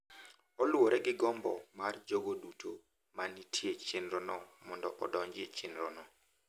Oluwore gi gombo mar jogo duto ma nitie e chenrono mondo odonjre e chenrono.